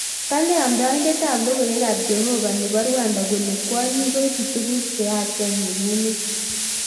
Kale amndoindet ab logoiwek ab Jehovah nebo Rwanda kole kwonyik koibu tuguuk cheyachen eng emet